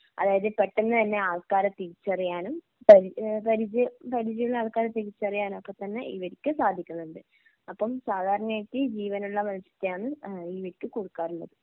അതായത് പെട്ടെന്ന് തന്നെ ആൾക്കാരെ തിരിച്ചറിയാനും പരി ഏഹ് പരിചയം പരിചയമുള്ള ആൾക്കാരെ തിരിച്ചറിയാനുമൊക്കെ തന്നെ ഇവർക്ക് സാധിക്കുന്നുണ്ട്. അപ്പം സാധാരണയായിട്ട് ജീവനുള്ള മത്സ്യമാന്ന് ഏഹ് ഇവയ്ക്ക് കൊടുക്കാറുള്ളത്.